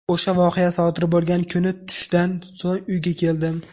O‘sha voqea sodir bo‘lgan kuni tushdan so‘ng uyga keldim.